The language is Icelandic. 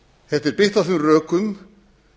þetta er byggt á þeim rökum